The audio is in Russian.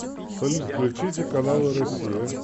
салют включите каналы россия